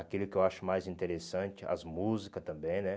Aquilo que eu acho mais interessante, as músicas também, né?